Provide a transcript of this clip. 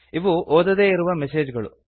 ಇವು ಓದದೇ ಇರುವ ಮೆಸೇಜ್ ಗಳು